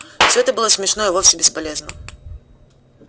всё это было смешно и вовсе бесполезно